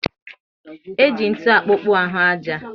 E ji ntụ akpokpu ahụ aja